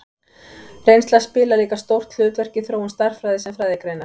Reynsla spilar líka stórt hlutverk í þróun stærðfræði sem fræðigreinar.